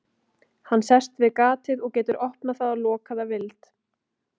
Hann sest við gatið og getur opnað það og lokað að vild.